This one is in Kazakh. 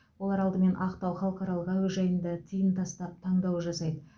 олар алдымен ақтау халықаралық әуежайында тиын тастап таңдау жасайды